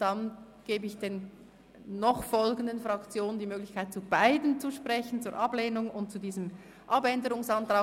Dann gebe ich den jetzt noch folgenden Fraktionen die Möglichkeit, zu beiden Anträgen zu sprechen, zum Ablehnungs- und zum Abänderungsantrag.